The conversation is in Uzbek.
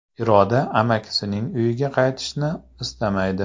Iroda amakisining uyiga qaytishni istamaydi.